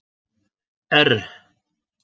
R